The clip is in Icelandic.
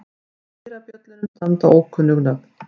Á dyrabjöllunum standa ókunnug nöfn.